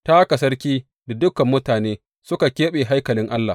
Ta haka sarki da dukan mutane suka keɓe haikalin Allah.